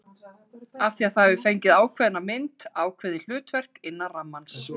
Af því það hefur fengið ákveðna mynd, ákveðið hlutverk, innan rammans.